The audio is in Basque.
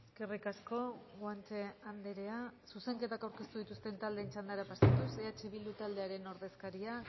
eskerri asko guanche andrea zuzenketak aurkeztu dituzten txandara pasatuz eh bildu taldearen ordezkaria